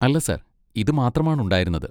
അല്ല, സർ, ഇത് മാത്രമാണ് ഉണ്ടായിരുന്നത്.